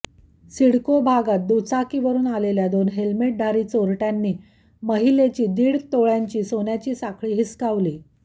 सिडको भागात दुचाकीवरून आलेल्या दोन हेल्मेटधारी चोरट्यांनी महिलेची दीड तोळ्यांची सोनसाखळी हिसकावली